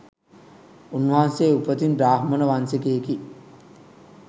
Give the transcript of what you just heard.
උන්වහන්සේ උපතින් බ්‍රාහ්මණ වංශිකයෙකි